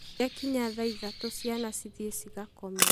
Ciakinya thaa ithatũ ciana cithiĩ cigakome.